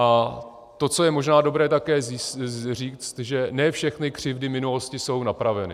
A to, co je možná dobré také říct, že ne všechny křivdy minulosti jsou napraveny.